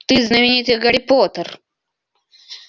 ты знаменитый гарри поттер